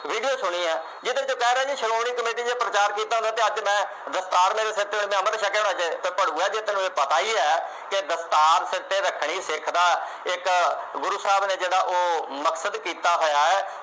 video ਸੁਣੀ ਆ ਜਿਹੜੇ ਵਿਚ ਕਹਿ ਰਹੇ ਨੇ ਸ਼੍ਰੋਮਣੀ ਕਮੇਟੀ ਨੇ ਪ੍ਰਚਾਰ ਕੀਤਾ ਹੁੰਦਾ ਤੇ ਅੱਜ ਮੈਂ ਦਸਤਾਰ ਮੇਰੇ ਸਿਰ ਤੇ ਹੋਣੀ ਮੈਂ ਅੰਮ੍ਰਿਤ ਛੱਕਿਆ ਹੋਣਾ ਜੇ ਤੇ ਇਹ ਤੈਨੂੰ ਪਤਾ ਹੀ ਹੈ ਕਿ ਦਸਤਾਰ ਸਿਰ ਤੇ ਰੱਖਣੀ ਸਿੱਖ ਦਾ ਇਕ ਗੁਰੂ ਸਾਹਿਬ ਨੇ ਜਿਹੜਾ ਉਹ ਮਕਸਦ ਕੀਤਾ ਹੋਇਆ